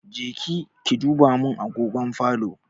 Je ki duba min agogon falo.